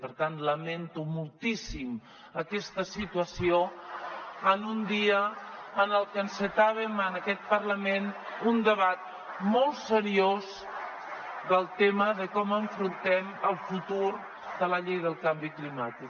per tant lamento moltíssim aquesta situació en un dia en el que encetàvem en aquest parlament un debat molt seriós del tema de com afrontem el futur de la llei del canvi climàtic